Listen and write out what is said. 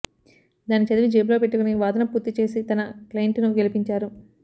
దాన్ని చదివి జేబులో పెట్టుకొని వాదన పూర్తి చేసి తన క్లయింట్ ను గెలిపించారు